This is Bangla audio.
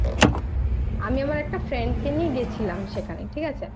আমি আমার একটা Friend কে নিয়ে গেছিলাম সেখানে ঠিক আছে